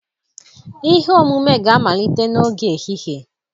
ihe omume ga-amalite n'oge ehihie